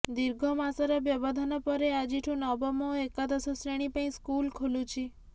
ଦୀର୍ଘ ମାସର ବ୍ୟବଧାନ ପରେ ଆଜିଠୁ ନବମ ଓ ଏକାଦଶ ଶ୍ରେଣୀ ପାଇଁ ସ୍କୁଲ ଖୋଲୁଛି